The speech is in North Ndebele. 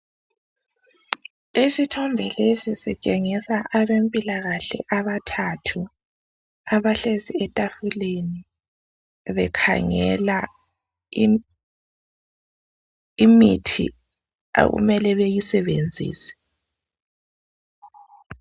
Isithombe lesi sitshengisa abempilakahle abathathu abahlezi etafuleni bekhangela imithi okumele beyisebenzise.